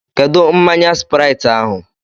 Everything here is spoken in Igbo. Kedụ mmanya Sprait ahụ?